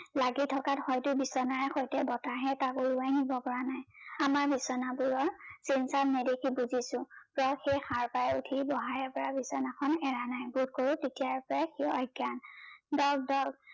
লাগি থকাত হয়টো বিচনাৰ সৈতে বতাহে তাক উৰোৱাই নিব পৰা নাই। আমাৰ বিচনাবোৰৰ নেদেখি বুজিছো প্ৰ সেই সাৰ পাই উঠি বহাৰে পা বিচনাখন এৰা নাই বোধকৰো তেতিয়াৰ পৰাই সি অজ্ঞান